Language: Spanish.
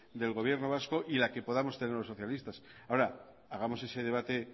del gobierno vasco y la que podamos tener los socialistas ahora hagamos ese debate